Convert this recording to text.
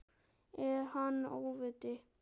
Er hann óviti?